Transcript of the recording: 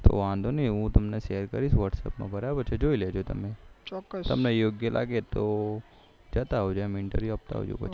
વાંધો નહિ હું તમને share કરીશ whatsapp માં બરાબર છે જોઈ લેજો તમે તમને યોગ્ય લાગે તો જતા આવજો એમ intrview આપતા આવજો